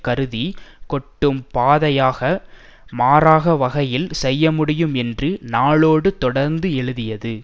குருதி கொட்டும் பாதையாக மாறாக வகையில் செய்யமுடியும் என்று நாளோடு தொடர்ந்து எழுதியது